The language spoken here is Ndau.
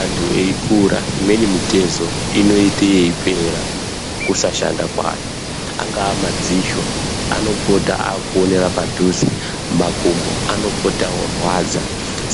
Antu eikura imweni mitezo inoita yeipera kusashanda kwayo. Angaa madziso anopota akuonera padhuze. Makumbo anopota orwadza.